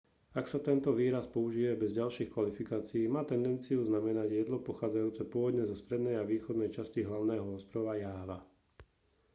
ak sa tento výraz použije bez ďalších kvalifikácií má tendenciu znamenať jedlo pochádzajúce pôvodne zo strednej a východnej časti hlavného ostrova jáva